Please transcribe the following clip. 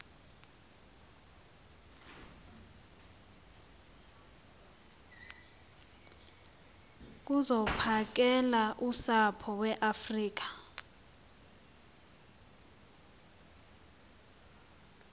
zokuphakela usapho iweafrika